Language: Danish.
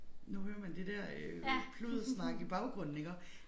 Nu hører man det der øh pluddersnak i baggrunden iggå